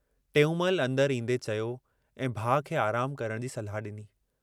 टेऊंमल अंदरि ईन्दे चयो ऐं भाउ खे आरामु करण जी सलाह डिनी।